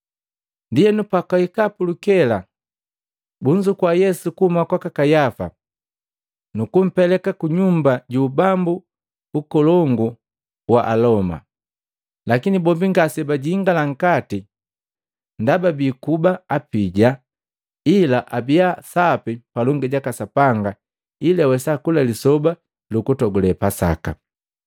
Ndienu pakwahika pulukela bunzukua Yesu kuhuma kwaka Kayafa, nukumpeleka ku kunyumba ju ubambu lu ukolongu la Aloma. Lakini bombi ngasebajingala nkati ndaba bii kuba apija ila abiya sapi palongi jaka Sapanga ili awesa kula Lisoba lukutogule Pasaka.